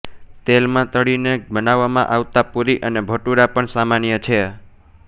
તેલમાં તળીને બનાવવામાં આવતા પૂરી અને ભટૂરા પણ સામાન્ય છે